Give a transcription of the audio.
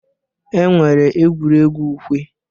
E nwere egwuregwu ukwe.